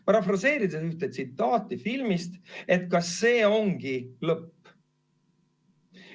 Parafraseerides ühte tsitaati filmist: kas see ongi lõpp?